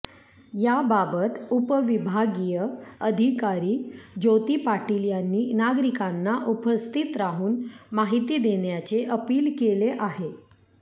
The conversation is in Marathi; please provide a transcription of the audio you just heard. याबाबत उपविभागीय अधिकारी ज्योती पाटील यांनी नागरिकांना उपस्थित राहून माहिती देण्याचे अपील केले आहे